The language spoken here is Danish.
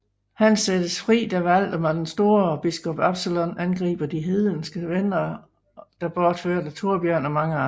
Han sættes fri da Valdemar den Store og biskop Absalon angriber de hedenske vendere der bortførte Thorbjørn og mange andre